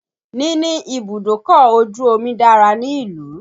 Níní ibùdókọ̀ ojù omi dára ní ìlú.